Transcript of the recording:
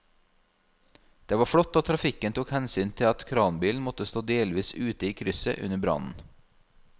Det var flott at trafikken tok hensyn til at kranbilen måtte stå delvis ute i krysset under brannen.